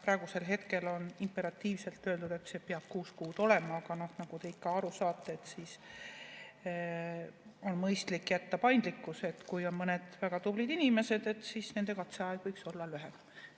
Praegu on imperatiivselt öeldud, et see peab kuus kuud olema, aga nagu te aru saate, siis on mõistlik jätta paindlikkus, et kui on väga tubli inimene, siis tema katseaeg võiks olla lühem.